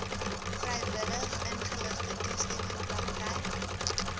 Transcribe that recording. vrywilligingeligte toestemming praktyk